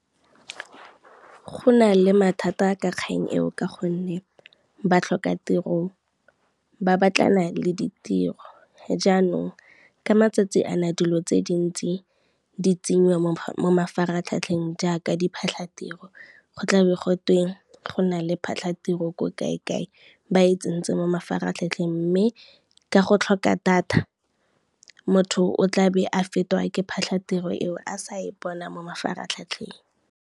Go na le mathata ka kgang eo ka gonne, batlhokatiro ba batlana le ditiro jaanong ka matsatsi a na dilo tse dintsi di tsenyiwa mo mafaratlhatlheng jaaka diphatlhatiro, go tla be gotwe go na le phatlhatiro ko kae kae ba e tsentse mo mafaratlhatlheng, mme ka go tlhoka data motho o tla be a fetwa ke phatlhatiro eo a sa e bona mo mafaratlhatlheng.